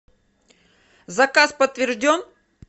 заказ подтвержден